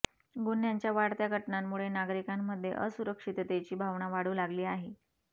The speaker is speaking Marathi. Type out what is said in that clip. गुन्ह्यांच्या वाढत्या घटनांमुळे नागरिकांमध्ये असुरक्षिततेची भावना वाढू लागली आहे